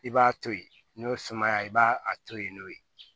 I b'a to ye n'o ye sumaya i b'a a to yen n'o ye